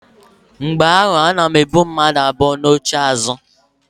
Mgbe ahụ ana m ebu mmadu abụọ n'oche azụ.